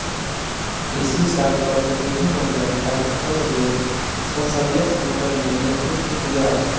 इसी साल प्रतिनिधिमंडल पाकिस्तान रूम संसदीय सम्मेलन में नेतृत्व किया